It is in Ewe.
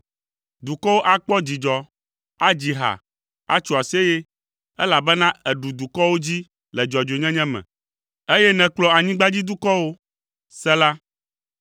Dukɔwo akpɔ dzidzɔ, adzi ha, atso aseye, elabena èɖu dukɔwo dzi le dzɔdzɔenyenye me, eye nèkplɔ anyigbadzidukɔwo. Sela